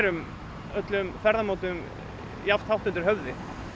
öllum ferðamátum jafn hátt undir höfði